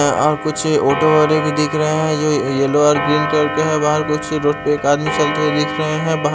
अ आ कुछ ओटो वाले भी दिख रहे है ये येल्लो और पिंक कलर के है बाहर कुछ रोड पे आदमी चलते हुए दिख रहे है बाहर--